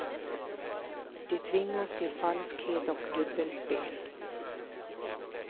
De tvingas till falskhet och dubbelspel.